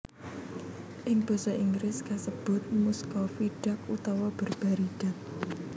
Ing basa Inggris kasebut Muscovy Duck utawa Barbary Duck